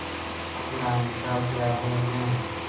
आज रानी का ब्याह है न